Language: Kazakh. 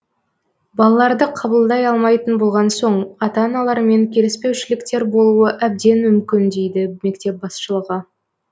балаларды қабылдай алмайтын болған соң ата аналармен келіспеушіліктер болуы әбден мүмкін дейді мектеп басшылығы